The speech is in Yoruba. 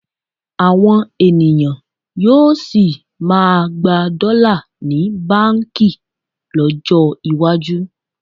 Àwọn ènìyàn yóò sì máa gba dọ́là ní báǹkì lọ́jọ́ iwájú